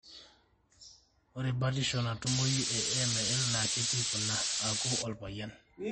ore batisho natumoyu e AML na ketii kuna:aku olpayian.